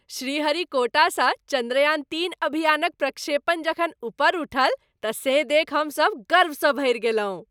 श्रीहरिकोटासँ चन्द्रयान तीन अभियानक प्रक्षेपण जखन उपर उठल तँ से देखि हमसब गर्वसँ भरि गेलहुँ।